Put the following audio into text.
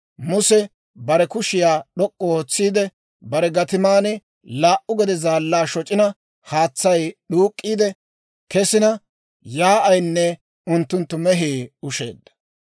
Muse bare kushiyaa d'ok'k'u ootsiide, bare gatiman laa"u gede zaallaa shoc'ina, haatsay d'uuk'k'iide kesina yaa'aynne unttunttu mehii ushsheedda.